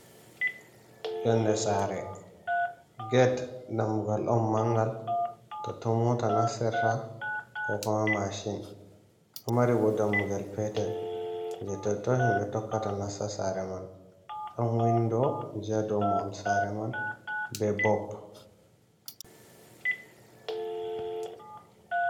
"Yonɗe sare" ged dammugal on mangal totton mota nassirta ko kuma mashin ɗo mari ɓo dammugel petel je totton himɓe tokkata nassa sare man ɗon windo ji ha ɗow mahol sare man be bob.